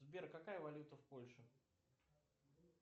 сбер какая валюта в польше